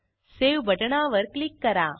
save बटणावर click करा